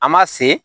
An ma se